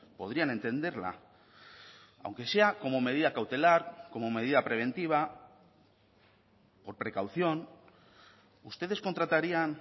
podrían entenderla aunque sea como medida cautelar como medida preventiva por precaución ustedes contratarían